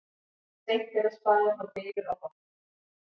Seint er að spara þá bylur á botni.